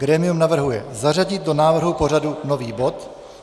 Grémium navrhuje zařadit do návrhu pořadu nový bod.